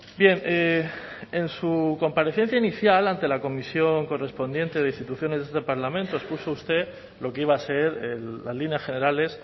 bien en su comparecencia inicial ante la comisión correspondiente de instituciones de este parlamento expuso usted lo que iba a ser las líneas generales